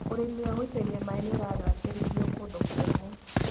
ũrĩmi wa gũitĩrĩria maĩ nĩũragacĩrithio kũndũ kũmũ.